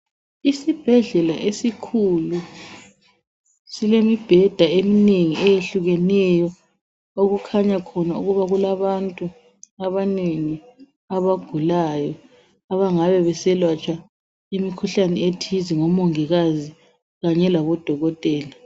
Isibhedlela esikhulu silemibheda eminengi eyehlukeneyo okukhanya khona ukuba kulabantu abanengi abagulayo abangabe beselatshwa imikhuhlane ethize ngomongikazi kanye labodokotela.